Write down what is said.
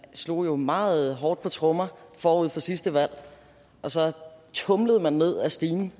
slog jo meget hårdt på trommer forud for sidste valg og så tumlede man ned ad stigen